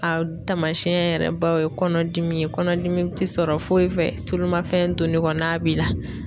A tamasiyɛn yɛrɛ baw ye kɔnɔdimi ye, kɔnɔdimi tɛ sɔrɔ foyi fɛ tulumafɛn duni ko n'a b'i la.